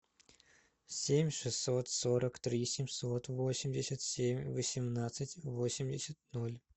семь шестьсот сорок три семьсот восемьдесят семь восемнадцать восемьдесят ноль